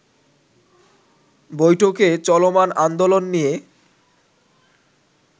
বৈঠকে চলমান আন্দোলন নিয়ে